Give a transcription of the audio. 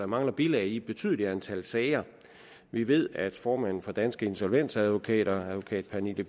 mangler bilag i et betydeligt antal sager vi ved at formanden for danske insolvensadvokater advokat pernille